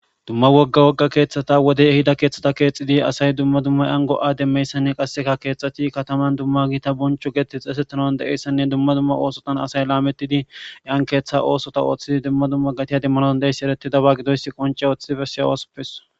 Dumma wogga wogga keeththata wodey hida keeththata keexxidi asay dumma dumma ango'a demmeyssanne qasseka keexxxati kataman dumma giita boncho geeti xeesetanan de'eyssanne dumma dumma oosotan asay laametidi yan keeththa oosota ooththidi dumma dumma gatiya demmanadon deeyssi ereti daba gidoys qonce ooththi bessey osupeso